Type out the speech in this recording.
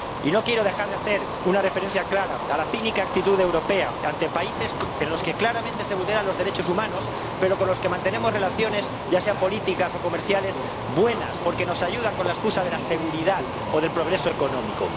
Y no quiero dejar de hacer una referencia clara a la cínica actitud europea ante países en los que claramente se vulneran los derechos humanos, pero con los que mantenemos relaciones ―ya sean políticas o comerciales― buenas porque nos ayudan con la excusa de la seguridad o del progreso económico.